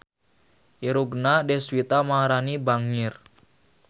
Irungna Deswita Maharani bangir